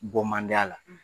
Bɔ man di a la.